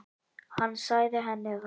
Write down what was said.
Hann sagði henni það.